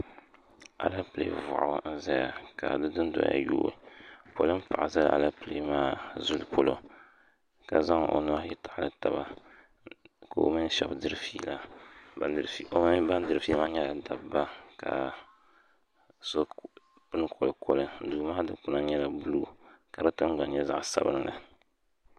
Alapilee m-bɔŋɔ n-zaya ka di dundoya yooi polin’paɣa zala alapilee maa zuli polo ka zaŋ o nuhi ayi n-taɣili taba ka o mini shɛba diri feela o mini ban diri feela maa nyɛla dabba ka so pini kolikoli duu maa dukpana maa nyɛla buluu ka di tiŋgbani nyɛ zaɣ’sabinli